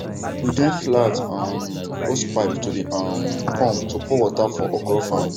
we join flat um hosepipe to the um pump to pour water for okra farm